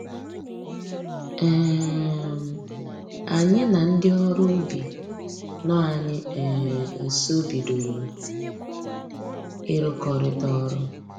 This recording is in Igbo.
um Anyị na ndị ọrụ ubi nọ anyị um nsọ bidoro ịrụkọrịta ọrụ